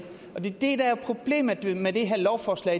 det er det der er problemet med det her lovforslag